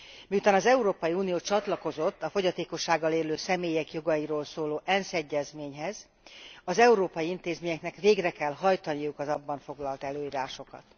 Miután az Európai Unió csatlakozott a fogyatékossággal élő személyek jogairól szóló ENSZ egyezményhez, az európai intézményeknek végre kell hajtaniuk az abban foglalt előírásokat.